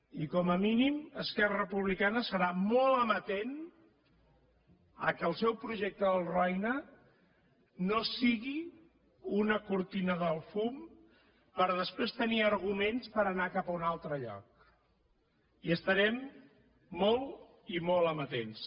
i com a mínim esquerra republicana serà molt amatent que el seu projecte del roine no sigui una cortina de fum per després tenir arguments per anar cap a un altre lloc hi estarem molt i molt amatents